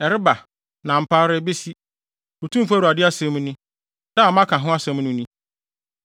Ɛreba! na ampa ara ebesi, Otumfo Awurade asɛm ni. Da a maka ho asɛm no ni.